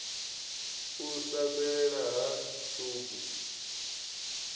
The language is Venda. u sa fhelela ha tshubu